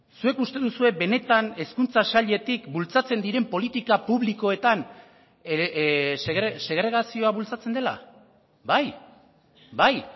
zuek uste duzue benetan hezkuntza sailetik bultzatzen diren politika publikoetan segregazioa bultzatzen dela bai bai